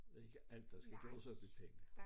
Det ikke alt der skal gøres op i penge